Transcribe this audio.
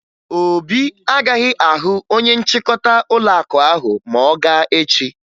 Obi agaghị ahụ onye nchịkọta ụlọakụ ahụ ma ọ gaa echi